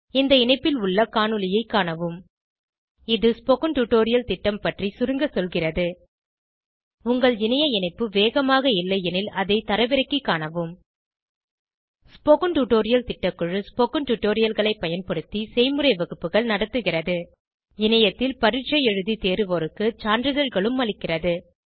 இந்த இணைப்பில் உள்ள காணொளியைக் காணவும் httpspoken tutorialorgWhat is a Spoken tutorial இது ஸ்போகன் டுடோரியல் திட்டம் பற்றி சுருங்க சொல்கிறது உங்கள் இணைய இணைப்பு வேகமாக இல்லையெனில் அதை தரவிறக்கிக் காணவும் ஸ்போகன் டுடோரியல் திட்டக்குழு ஸ்போகன் டுடோரியல்களைப் பயன்படுத்தி செய்முறை வகுப்புகள் நடத்துகிறது இணையத்தில் பரீட்சை எழுதி தேர்வோருக்கு சான்றிதழ்களும் அளிக்கிறது